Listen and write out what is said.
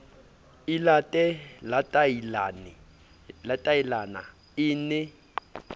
e late latailana e ne